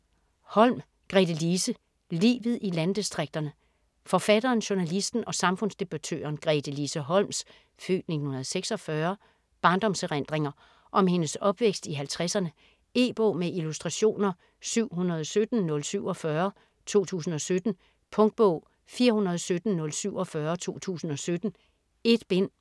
Holm, Gretelise: Livet i landdistrikterne Forfatteren, journalisten og samfundsdebattøren Gretelise Holms (f. 1946) barndomserindringer om hendes opvækst i halvtredserne. E-bog med illustrationer 717047 2017. Punktbog 417047 2017. 1 bind.